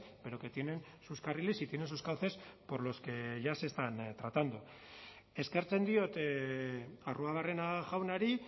pero que tienen sus carriles y tienen sus cauces por los que ya se están tratando eskertzen diot arruabarrena jaunari